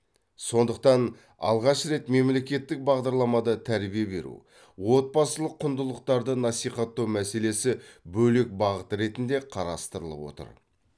сондықтан алғаш рет мемлекеттік бағдарламада тәрбие беру отбасылық құндылықтарды насихаттау мәселесі бөлек бағыт ретінде қарастырылып отыр